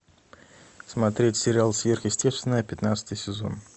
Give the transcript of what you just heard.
смотреть сериал сверхъестественное пятнадцатый сезон